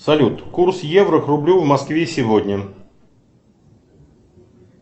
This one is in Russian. салют курс евро к рублю в москве сегодня